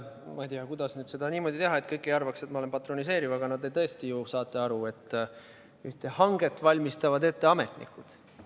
Ma ei tea, kuidas seda niimoodi teha, et kõik ei arvaks, et ma olen patroneeriv, aga te ju saate aru, et ühte hanget valmistavad ette ametnikud.